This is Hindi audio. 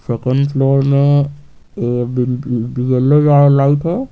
सेकंड फ्लोर में लाइट है।